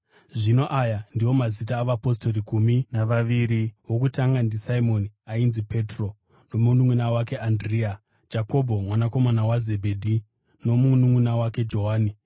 Zvino aya ndiwo mazita avapostori gumi navaviri: wokutanga ndiSimoni ainzi Petro nomununʼuna wake Andirea; Jakobho mwanakomana waZebhedhi nomununʼuna wake Johani;